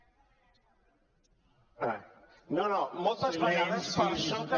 no no moltes vegades per sota